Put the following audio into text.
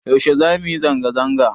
Yaushe zamu yi zanga zanga?